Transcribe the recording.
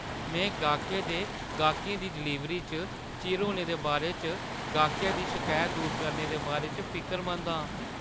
में गाह्कै दे गाह्कें गी डलीवरी च चिर होने दे बारे च गाह्कै दी शकैत दूर करने दे बारे च फिकरमंद आं।